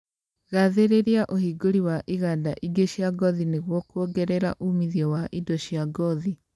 Gathĩrĩria ũhingũri wa iganda ingĩ cia ngothi nĩguo kuongerea umithio wa indo cia ngothi